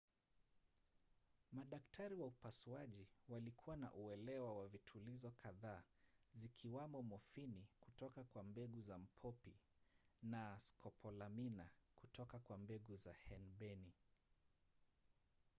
madaktari wa upasuaji walikuwa na uelewa wa vitulizo kadhaa zikiwamo mofini kutoka kwa mbegu za mpopi na scopolamina kutoka kwa mbegu za henbeni